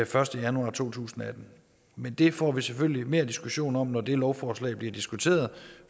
første januar to tusind og atten men det får vi selvfølgelig mere diskussion om når det lovforslag bliver diskuteret